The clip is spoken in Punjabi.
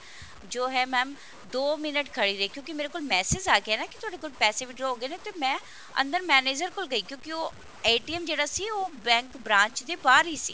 ਜੋ ਹੈ mam ਦੋ minute ਖੜੀ ਰਹੀ ਕਿਉਂਕੀ ਮੇਰੇ ਕੋਲ message ਆ ਗਿਆ ਨਾ ਕਿ ਤੁਹਾਡੇ ਕੋਲ ਪੈਸੇ withdraw ਹੋ ਗਏ ਨੇ ਤੇ ਮੈਂ ਅੰਦਰ manager ਕੋਲ ਗਈ ਕਿਉਂਕੀ ਉਹ ਜਿਹੜਾ ਸੀ ਉਹ bank branch ਦੇ ਬਾਹਰ ਹੀ ਸੀ